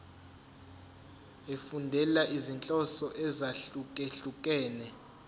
efundela izinhloso ezahlukehlukene